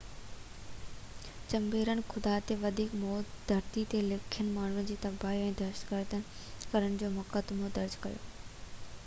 چيمبرن خدا تي وڌيڪ موت ڌرتي تي لکين ماڻهن جي تباهي ۽ دهشت گردي ڪرڻ جو مقدمو درج ڪيو